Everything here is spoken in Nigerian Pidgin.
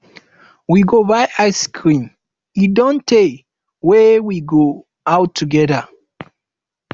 we go buy ice cream e don tey wey we go out together